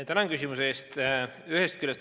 Tänan küsimuse eest!